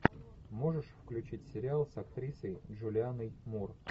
можешь включить сериал с актрисой джулианной мур